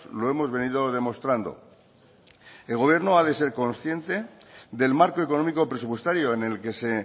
lo hemos venido demostrando el gobierno ha de ser consciente del marco económico presupuestario en el que se